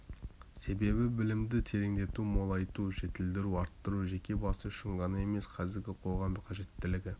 себебі білімді тереңдету молайту жетілдіру арттыру жеке басы үшін ғана емес қазіргі қоғам қажеттілігі